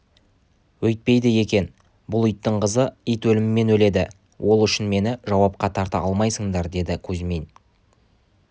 өйтпейді екен бұл иттің қызы ит өлімімен өледі ол үшін мені жауапқа тарта алмайсыңдар деді кузьмин